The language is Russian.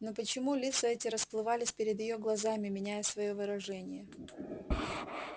но почему лица эти расплывались перед её глазами меняя своё выражение